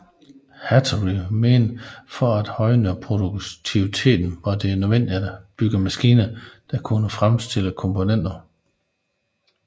Hattori mente at for at højne produktiviteten var det nødvendigt at bygge maskiner der kunne fremstille komponenterne